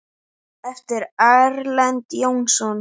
eftir Erlend Jónsson